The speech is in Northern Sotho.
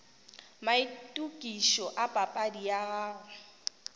maitokišo a papadi ya gago